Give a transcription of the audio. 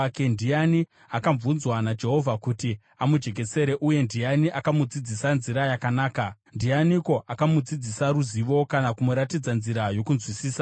Ndiani akabvunzwa naJehovha kuti amujekesere, uye ndiani akamudzidzisa nzira yakanaka? Ndianiko akamudzidzisa ruzivo kana kumuratidza nzira yokunzwisisa?